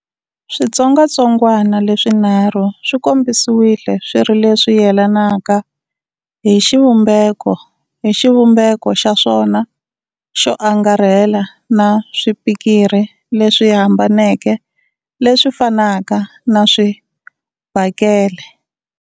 Switsongwatsongwana leswinharhu swi kombisiwile swi ri leswi yelanaka hi xivumbeko hi xivumbeko xa swona xo angarhela na swipikiri leswi hambaneke leswi fanaka na swibakele.